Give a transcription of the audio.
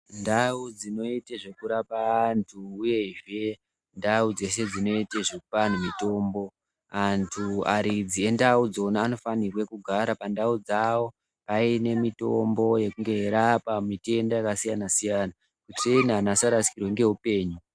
Ndau dzinoite zvekurapa antu uyezve ndau dzese dzinoite zvekupa antu mutombo, antu aridzi endau dzona anofanirwe kugara pandau dzavo aine mitombo yekunge eirapa mitenda yakasiyana-siyana. Kuitireni antu asarasikirwe neupenyu.